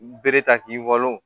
Bere ta k'i walon